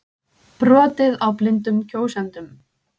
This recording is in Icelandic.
Brotið á blindum kjósendum